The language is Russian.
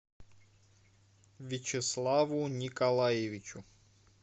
вячеславу николаевичу